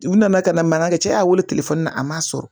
U nana ka na mankan kɛ cɛ y'a weele telefɔni na a ma sɔrɔ